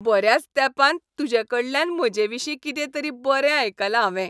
बऱ्याच तेंपान तुजेकडल्यान म्हजेविशीं कितें तरी बरें आयकलां हांवें.